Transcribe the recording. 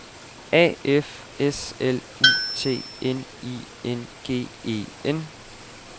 A F S L U T N I N G E N